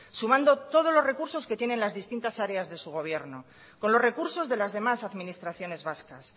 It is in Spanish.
sumando todos los recursos que tienen las distintas áreas de su gobierno con los recursos de las demás administraciones vascas